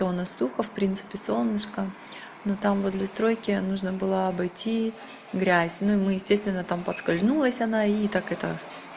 то у нас сухо в принципе солнышко но там возле стройки нужно было обойти грязь ну и мы естественно там поскользнулась она и так это